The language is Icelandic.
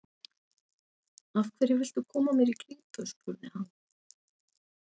Af hverju viltu koma mér í klípu? spurði hann.